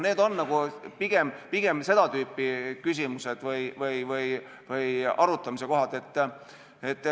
Need on pigem seda tüüpi küsimused või arutamise kohad.